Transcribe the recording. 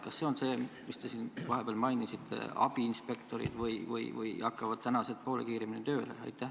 Kas see alus on see, mis te siin mainisite, et tulevad abiinspektorid, või hakkavad tänased töötajad poole kiiremini tööle?